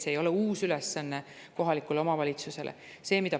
See ei ole kohalikule omavalitsusele uus ülesanne.